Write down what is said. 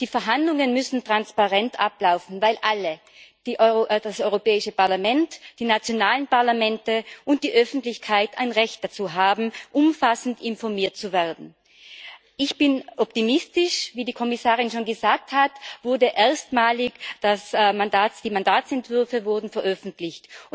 Die Verhandlungen müssen transparent ablaufen, weil alle, das Europäische Parlament, die nationalen Parlamente und die Öffentlichkeit, ein Recht darauf haben, umfassend informiert zu werden. Ich bin optimistisch Wie die Kommissarin schon gesagt hat, wurden erstmalig die Mandatsentwürfe veröffentlicht.